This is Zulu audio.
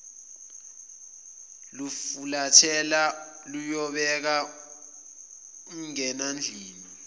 lufulathela luyobeka umngenandlini